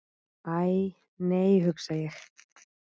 Æ, nei hugsa ég.